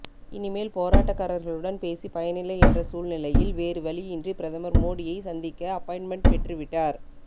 இனி மேல் போராட்டக்காரர்களுடன் பேசி பயனில்லை என்ற சூழ்நிலையில் வேறு வழியின்றி பிரதமர் மோடியை சந்திக்க அப்பாயின்ட்மென்ட் பெற்று விட்டார்